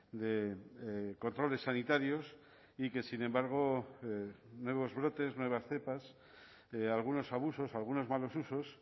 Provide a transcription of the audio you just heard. de controles sanitarios y que sin embargo nuevos brotes nuevas cepas algunos abusos algunos malos usos